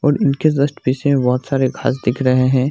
और इनके जस्ट पिछे में बहुत सारे घास दिख रहे हैं।